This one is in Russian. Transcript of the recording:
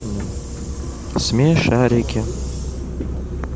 смешарики